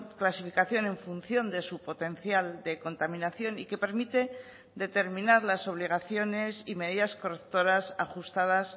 clasificación en función de su potencial de contaminación y que permite determinar las obligaciones y medidas correctoras ajustadas